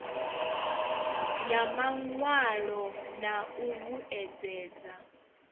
ya mawalo na u vhuedzedza